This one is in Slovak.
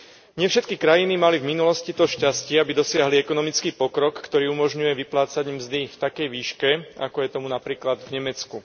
Nie všetky krajiny mali v minulosti to šťastie, aby dosiahli ekonomický pokrok, ktorý umožňuje vyplácať im mzdy v takej výške, ako je to napríklad v Nemecku.